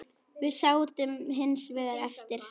Við sátum hins vegar eftir.